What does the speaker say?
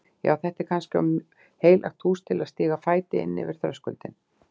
Já, er þetta kannski of heilagt hús til að stíga fæti inn fyrir þröskuldinn?